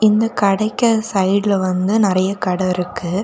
இந்த கடைக்கு சைடுல வந்து நிறைய கடை இருக்கு.